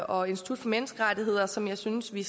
og institut for menneskerettigheder som jeg synes vi